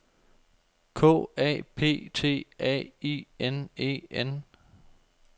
K A P T A I N E N